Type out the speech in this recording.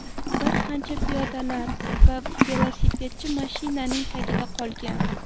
Bir qancha piyodalar va velosipedchi mashinaning tagida qolgan.